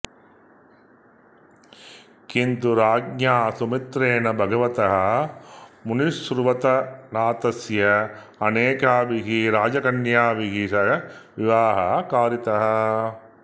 किन्तु राज्ञा सुमित्रेण भगवतः मुनिसुव्रतनाथस्य अनेकाभिः राजकन्याभिः सह विवाहः कारितः